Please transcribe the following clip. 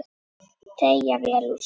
Teygja vel úr sér.